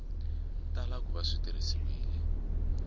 tala ku va swi tirhisiwile